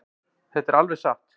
Þetta er alveg satt.